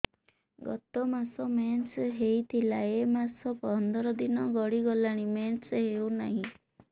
ଗତ ମାସ ମେନ୍ସ ହେଇଥିଲା ଏ ମାସ ପନ୍ଦର ଦିନ ଗଡିଗଲାଣି ମେନ୍ସ ହେଉନାହିଁ